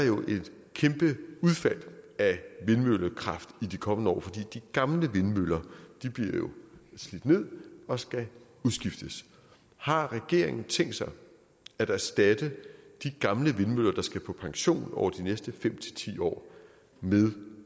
et kæmpe udfald af vindmøllekraft i de kommende år fordi de gamle vindmøller bliver slidt ned og skal udskiftes har regeringen tænkt sig at erstatte de gamle vindmøller der skal på pension over de næste fem ti år med